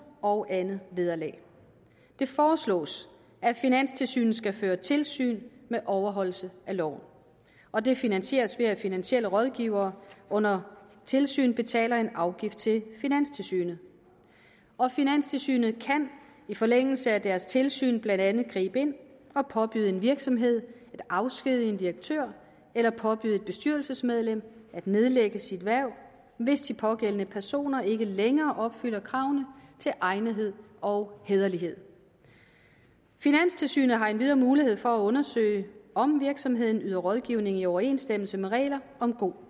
og andet vederlag det foreslås at finanstilsynet skal føre tilsyn med overholdelse af loven og det finansieres ved at finansielle rådgivere under tilsyn betaler en afgift til finanstilsynet og finanstilsynet kan i forlængelse af deres tilsyn blandt andet gribe ind og påbyde en virksomhed at afskedige en direktør eller påbyde et bestyrelsesmedlem at nedlægge sit hverv hvis de pågældende personer ikke længere opfylder kravene til egnethed og hæderlighed finanstilsynet har endvidere mulighed for at undersøge om virksomheden yder rådgivning i overensstemmelse med regler om god